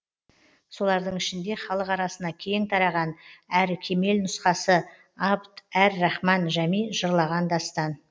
солардың ішінде халық арасына кең тараған әрі кемел нұсқасы абд әр рахман жәми жырлаған дастан